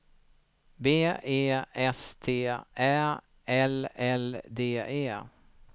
B E S T Ä L L D E